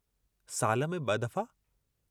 साल में ब दफ़ा?